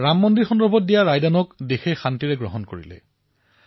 আজি মন কী বাতৰ জৰিয়তে মই সমগ্ৰ দেশবাসীক সাধুবাদ দিছো ধন্যবাদ প্ৰদান কৰিছো